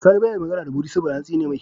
Sani baya magAna da mudi saboda an tsine mai